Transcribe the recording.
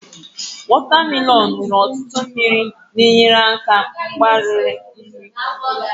anyụ nwere ọtụtụ mmiri na-enyere aka mgbari nri